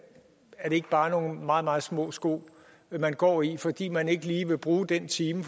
ikke bare nogle meget meget små sko man går i fordi man ikke lige vil bruge den time